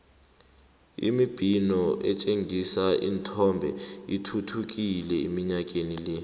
imibhino etjhengisa ithombe ithuthukile iminyakeni le